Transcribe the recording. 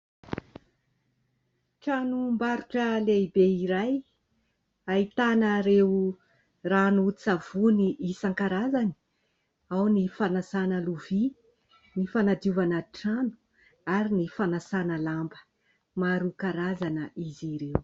Tranombarotra lehibe iray ahitana ireo ranon-tsavony isankarazany, ao ny fanasana lovia, ny fanadiovana trano ary ny fanasana lamba, maro karazana izy ireo.